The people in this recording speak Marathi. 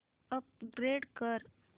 अपग्रेड कर